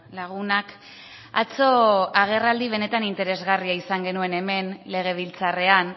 lagunak atzo agerraldi benetan interesgarria izan genuen hemen legebiltzarrean